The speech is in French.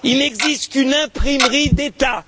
Il n'existe qu'une imprimerie d'état.